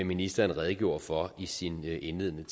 ministeren redegjorde for i sin indledende